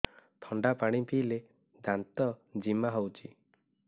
ଥଣ୍ଡା ପାଣି ପିଇଲେ ଦାନ୍ତ ଜିମା ହଉଚି